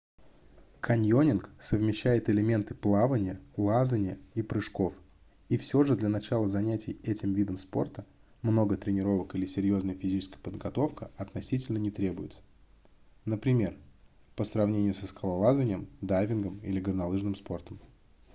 каньонинг совмещает элементы плавания лазанья и прыжков и все же для начала занятий этим видом спорта много тренировок или серьезная физическая подготовка относительно не требуется например по сравнению со скалолазанием дайвингом или горнолыжным спортом